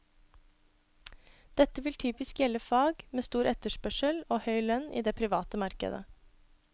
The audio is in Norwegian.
Dette vil typisk gjelde fag med stor etterspørsel og høy lønn i det private markedet.